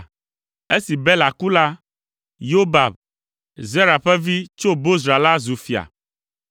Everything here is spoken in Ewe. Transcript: Esi Bela ku la, Yobab, Zera ƒe vi si tso Bozra la zu fia.